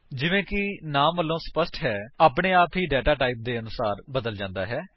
ਜਿਵੇਂ ਕਿ ਨਾਮ ਵਲੋਂ ਸਪੱਸ਼ਟ ਹੈ ਆਪਣੇ ਆਪ ਹੀ ਡੇਟਾ ਟਾਈਪ ਦੇ ਅਨੁਸਾਰ ਬਦਲ ਜਾਂਦਾ ਹੈ